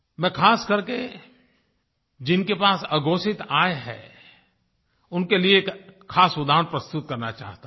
मैं खास करके जिनके पास अघोषित आय है उनके लिए एक खास उदाहरण प्रस्तुत करना चाहता हूँ